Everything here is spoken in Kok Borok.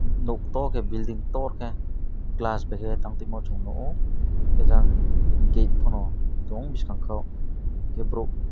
nok tor ke building tor ke glass tong tai moh chung nugo ejang gate fano tong bwsang ka unke borok.